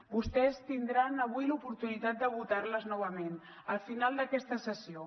vostès tindran avui l’oportunitat de votar les novament al final d’aquesta sessió